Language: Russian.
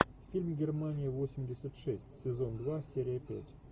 фильм германия восемьдесят шесть сезон два серия пять